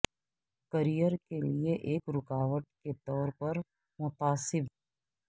career کے لئے ایک رکاوٹ کے طور پر متعصب